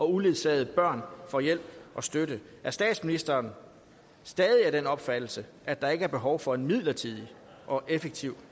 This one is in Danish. uledsagede børn får hjælp og støtte er statsministeren stadig af den opfattelse at der ikke er behov for en midlertidig og effektiv